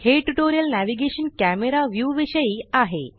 हे tutorial navigation camera view विषयी आहे